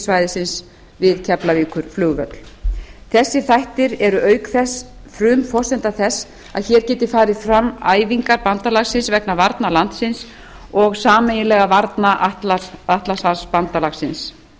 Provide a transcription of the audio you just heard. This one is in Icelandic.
öryggissvæðisins við keflavíkurflugvöll þessir þættir eru auk þess frumforsenda þess að hér geti farið fram æfingar bandalagsins vegna varna landsins og sameiginlegra varna atlantshafsbandalagsins